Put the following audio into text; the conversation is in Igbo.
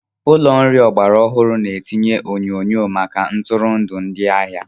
Ụlọ nri ọgbara ọhụrụ na-etinye onyonyo maka ntụrụndụ ndị ahịa.